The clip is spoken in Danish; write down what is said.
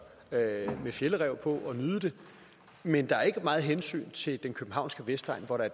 med fjällräv på og nyde det men der er ikke meget hensyn til den københavnske vestegn hvor der